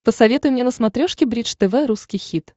посоветуй мне на смотрешке бридж тв русский хит